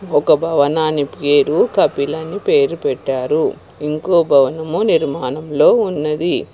ఒక భవనాని పేరు కపిల్ అని పేరు పెట్టారు ఇంకో భవనము నర్మాణంలో ఉన్నది.